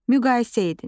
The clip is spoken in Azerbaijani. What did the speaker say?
Müqayisə edin.